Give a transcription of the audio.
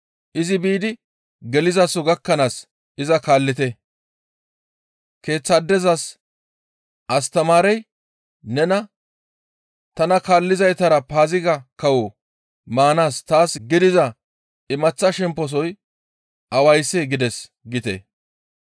Izi biidi gelizaso gakkanaas iza kaallite. Keeththaadezas, ‹Astamaarey nena, tana kaallizaytara Paaziga kawo maanaas taas gidiza imaththa shemposoy awayssee? gides› giite.